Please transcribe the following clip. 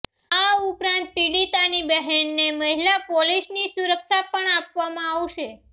આ ઉપરાંત પીડિતાની બહેનને મહિલા પોલીસની સુરક્ષા પણ આપવામાં આવશે